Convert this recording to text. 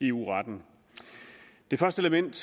eu retten det første element